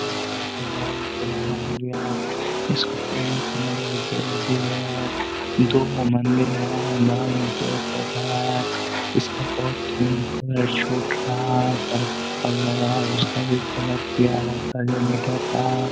पुराना हो गया हैं इसको पेंट करना बहुत जरुरी हैं दोगो मंदिर हैं बगल में पेड़ पौधा है इसका बहुत ही कलर छूट रहा है कलर किया हुआ था जो मिटक रहा।